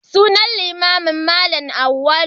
Sunan limaminmu Malam Auwalu.